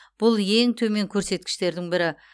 бұл ең төмен көрсеткіштердің бірі